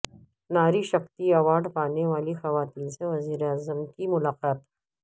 ناری Shakti award پانے والی خواتین سے وزیراعظم کی ملاقات